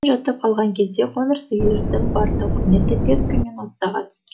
мен жатып қалған кезде қоңыр сиырдың бар тауқыметі петька мен оттоға түс